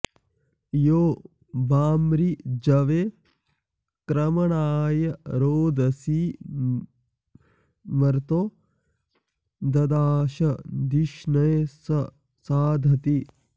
यो वा॑मृ॒जवे॒ क्रम॑णाय रोदसी॒ मर्तो॑ द॒दाश॑ धिषणे॒ स सा॑धति